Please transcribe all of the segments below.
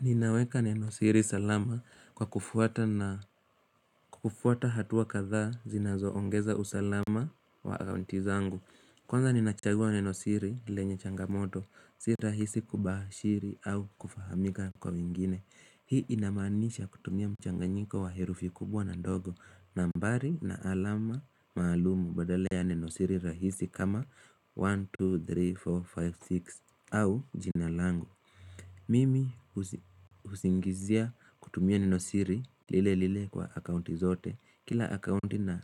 Ninaweka nenosiri salama kwa kufuata hatua kadha zinazoongeza usalama wa account zangu Kwanza ninachagua nenosiri lenye changamoto si rahisi kubashiri au kufahamika kwa wengine Hii inamanisha kutumia mchanganyiko wa herufi kubwa na ndogo nambari na alama maalumu badala nenosiri rahisi kama 1, 2, 3, 4, 5, 6 au jinalangu Mimi husingizia kutumia ninesiri lile lile kwa akaunti zote kila akaunti na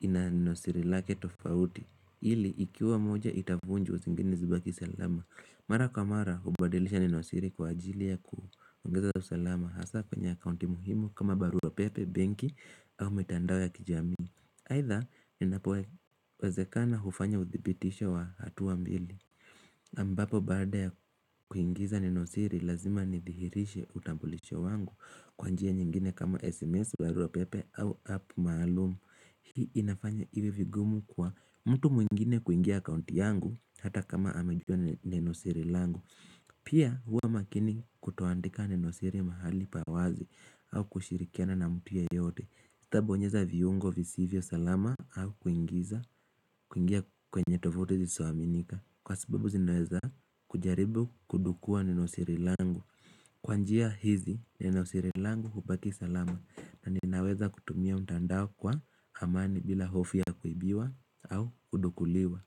ina nenosiri lake tofauti ili ikiwa moja itavunjwa zingine zibaki salama mara kwa mara hubadilisha nenosiri kwa ajili ya kuongeza usalama hasa kwenye akaunti muhimu kama baruapepe, benki au mitandao ya kijami aitha ninapo wazekana hufanya udhibitisho wa hatu mbili ambapo baada ya kuingiza nenosiri lazima nithihirishe utambulisho wangu kwa njia nyingine kama SMS, barua pepe au apo maalumu hii inafanya iwe vigumu kwa mtu mwingine kuingia kaunti yangu hata kama amejua nenosiri langu Pia huwa makini kutoandika nenosiri mahali pawazi au kushirikiana na mtu yeyote Itabonyeza viungo visivyo salama au kuingiza kuingia kwenye tovute zisizoaminika kwa sababu zinaweza kujaribu kudukua nenosiri langu Kwa njia hizi nenosirilangu kubaki salama na ninaweza kutumia mtandao kwa amani bila hofi ya kuibiwa au kudukuliwa.